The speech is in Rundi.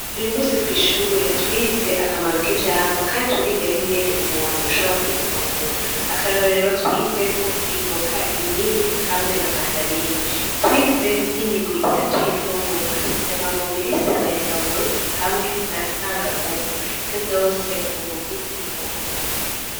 Uy'umunsi kw'ishure twize akamaro k'ivyamwa kandi turiga n'ingene umuntu yoshobora kubifungura. Akarorero twize ko ivoka ,imihwi hamwe na mandarine, twize n'imigwi itatu y'imfungurwa: ndemamubiri, nsanganyangaburo hamwe na ntanganguvu. Ivyo vyose n'uburwi bw'imfungurwa.